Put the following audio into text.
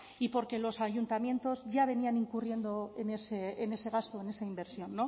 y porque los ayuntamientos ya venían incurriendo en ese gasto en esa inversión